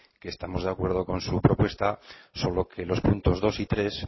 que estamos de acuerdo con su propuesta solo que los puntos dos y tres